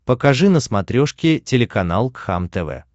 покажи на смотрешке телеканал кхлм тв